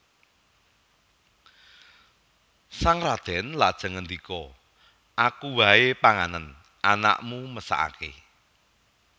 Sang radèn lajeng ngandika Aku waé panganen anakmu mesakaké